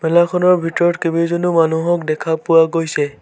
মেলাখনৰ ভিতৰত কেবেজনো মানুহক দেখা পোৱা গৈছে।